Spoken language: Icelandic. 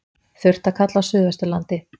Þurrt að kalla á suðvesturlandi